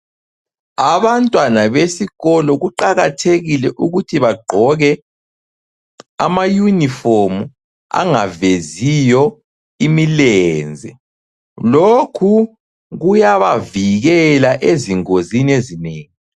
Abantwana besikolo kuqakathekile ukuthi bagqoke ama uniform angaveziyo imilenze, lokhu kuyabavikela ezingozini ezinengi.